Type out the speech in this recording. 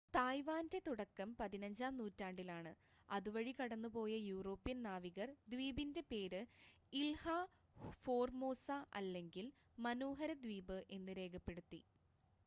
തായ്‌വാൻ്റെ തുടക്കം പതിനഞ്ചാം നൂറ്റാണ്ടിലാണ് അതുവഴി കടന്നുപോയ യൂറോപ്യൻ നാവികർ ദ്വീപിൻ്റെ പേര് ഇൽഹ ഫോർമോസ അല്ലെങ്കിൽ മനോഹര ദ്വീപ് എന്ന് രേഖപ്പെടുത്തി